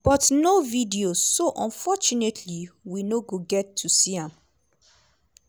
"but no video so unfortunately we no get to see am."